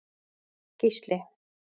Gísli